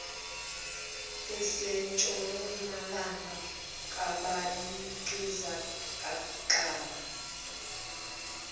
asentshonalanga kabaligqizi qakala